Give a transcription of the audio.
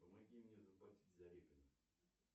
помоги мне заплатить за репина